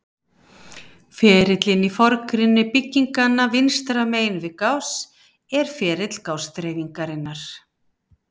Ferillinn í forgrunni bygginganna vinstra megin við Gauss er ferill Gauss-dreifingarinnar.